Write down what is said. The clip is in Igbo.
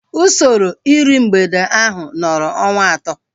Usoro iru mgbede ahu nọrọ ọnwa atọ